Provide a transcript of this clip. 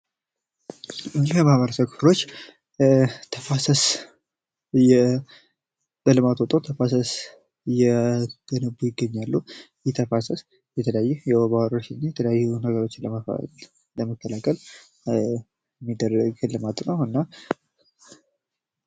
እነዚህ የማህበረሰብ ክፍሎች ተፋሰስ ለልማት ወጥተው ተፋሰስ እየገነቡ ይገኛሉ። ይህ ተፋሰስ የተለያየ የወባ ወረርሽኝን፣ የተለያየ የሆኑ ነገሮችን ለመከላከል የሚደረግ ልማት ነው። እና...